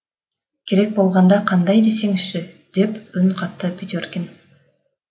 керек болғанда қандай десеңізші деп үн қатты петеркин